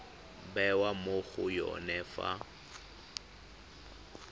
bewa mo go yone fa